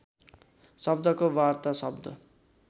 शब्दको वार्ता शब्द